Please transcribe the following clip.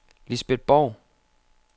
Lisbet Borg